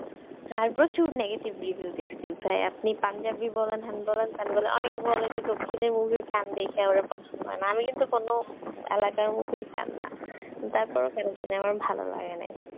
হ্যাঁ প্রচুর negative review দেখেছি। ভাই আপনি পাঞ্জাবি বলেন হেন বলেন তেন বলেন অনেকে বলে যে দক্ষিণী movie র fan দেখে আমার পছন্দ হয় না, আমি কিন্তু কোন এলাকার movie র fan না, তারপরেও কেন জানি আমার ভালো লাগে নাই।